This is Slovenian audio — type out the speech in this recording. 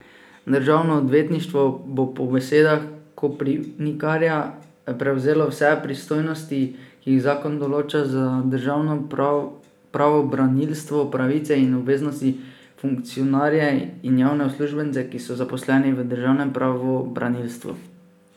Državno odvetništvo bo po besedah Koprivnikarja prevzelo vse pristojnosti, ki jih zakon določa za državno pravobranilstvo, pravice in obveznosti, funkcionarje in javne uslužbence, ki so zaposleni v državnem pravobranilstvu.